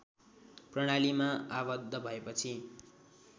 प्रणालीमा आबद्ध भएपछि